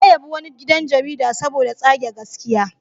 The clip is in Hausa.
Ya yabi wani gidan jarida saboda tsage gaskiya.